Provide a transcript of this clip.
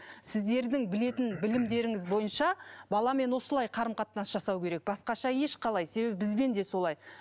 сіздердің білетін білімдеріңіз бойынша баламен осылай қарым қатынас жасау керек басқаша ешқалай себебі бізбен де солай